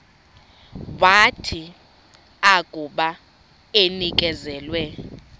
wathi akuba enikezelwe